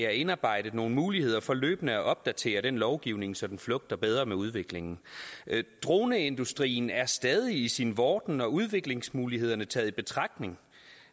er indarbejdet nogle muligheder for løbende at opdatere den lovgivning så den flugter bedre med udviklingen droneindustrien er stadig i sin vorden og udviklingsmulighederne taget i betragtning